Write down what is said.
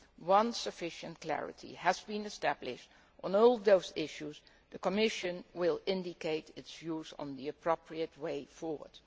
Once sufficient clarity has been established on all those issues, the Commission will give its views on the appropriate way forward.